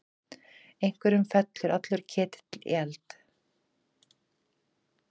Einhverjum fellur allur ketill í eld